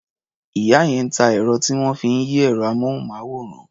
Ìyá yẹn ń ta ẹ̀rọ tí wọ́n fi ń yí ẹ̀rọ-amóhùnmáwòrán.